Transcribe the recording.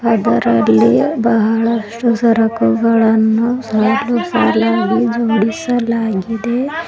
ಅದರಲ್ಲಿ ಬಹಳಷ್ಟು ಸರಕುಗಳನ್ನು ಸಾಲು ಸಾಲಾಗಿ ಜೋಡಿಸಲಾಗಿದೆ.